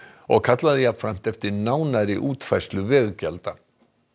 og kallaði jafnframt eftir nánari útfærslu veggjalda